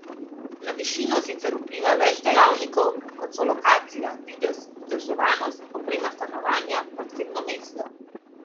Na višino sicer vpliva več dejavnikov, kot so lokacija, videz, vzdrževanost, oprema stanovanja, parkirno mesto ...